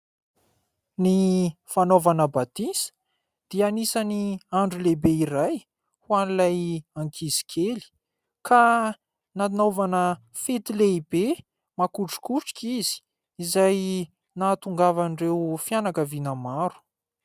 Ny fanaovana batisa dia anisany andro lehibe iray ho an'ilay ankizy kely ka nanaovana fety lehibe makotrokotroka izy izay nahatongavan'ireo fianakaviana maro.